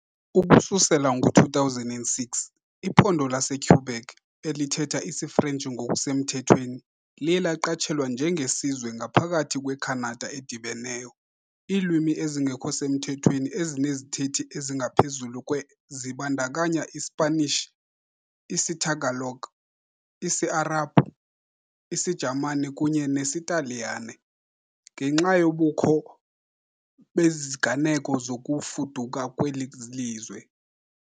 Ukususela ngo-2006, iphondo laseQuebec, elithetha isiFrentshi ngokusemthethweni, liye laqatshelwa njenge "sizwe ngaphakathi kweKhanada edibeneyo". Iilwimi ezingekho semthethweni ezinezithethi ezingaphezulu kwe zibandakanya iSpanish, isiTagalog, isiArabhu, isiJamani kunye nesiTaliyane, ngenxa yobukho beziganeko zokufuduka kweli lizwe.